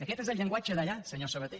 aquest és el llenguatge d’allà senyor sabaté